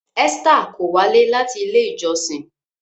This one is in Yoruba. Esther kò walẹ láti ilé ìjósìn